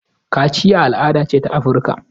Kaciya al'ada ce ta Afirika.